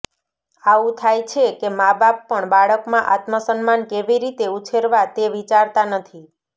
આવું થાય છે કે માબાપ પણ બાળકમાં આત્મસન્માન કેવી રીતે ઉછેરવા તે વિચારતા નથી